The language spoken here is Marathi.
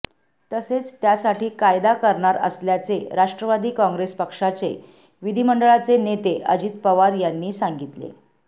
तसेच त्यासाठी कायदा करणार असल्याचे राष्ट्रवादी कॉंग्रेस पक्षाचे विधिमंडळाचे नेते अजित पवार यांनी सांगितले